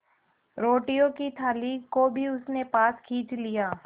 रोटियों की थाली को भी उसने पास खींच लिया